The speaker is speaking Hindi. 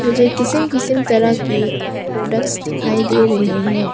मुझे किसीम किसीम तरह के प्रोडक्ट्स दिखाई दे रहे हैं।